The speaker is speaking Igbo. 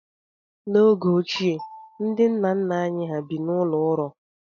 N'oge ochie, ndị nna nna anyị hà bi n'ụlọ ụrọ.